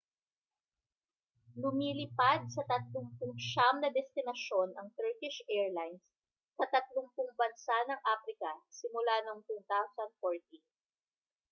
lumilipad sa 39 na destinasyon ang turkish arilines sa 30 bansa ng aprika simula noong 2014